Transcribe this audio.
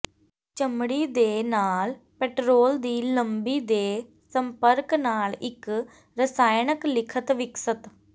ਚਮੜੀ ਦੇ ਨਾਲ ਪੈਟਰੋਲ ਦੀ ਲੰਬੀ ਦੇ ਸੰਪਰਕ ਨਾਲ ਇੱਕ ਰਸਾਇਣਕ ਲਿਖਣ ਵਿਕਸਤ